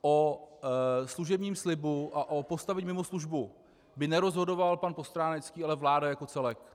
O služebním slibu a o postavení mimo službu, by nerozhodoval pan Postránecký, ale vláda jako celek.